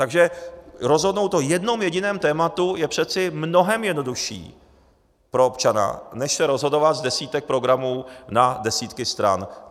Takže rozhodnout o jednom jediném tématu je přece mnohem jednodušší pro občana než se rozhodovat z desítek programů na desítky stran.